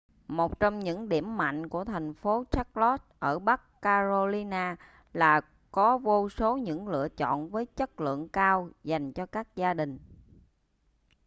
một trong những điểm mạnh của thành phố charlotte ở bắc carolina là có vô số những lựa chọn với chất lượng cao dành cho các gia đình